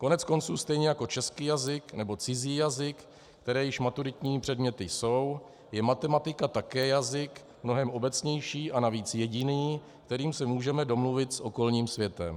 Koneckonců stejně jako český jazyk nebo cizí jazyk, které již maturitními předměty jsou, je matematika také jazyk, mnohem obecnější a navíc jediný, kterým se můžeme domluvit s okolním světem.